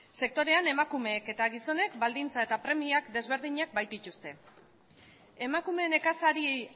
sektorean emakumeek eta gizonek baldintza eta premia desberdinak baitituzte emakume nekazari